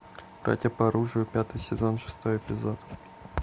братья по оружию пятый сезон шестой эпизод